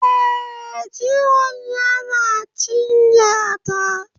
Eh, Jiwon yana cinya ta